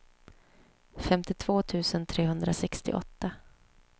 femtiotvå tusen trehundrasextioåtta